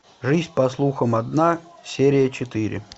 жизнь по слухам одна серия четыре